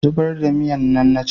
ki zubar da giyan nan na ce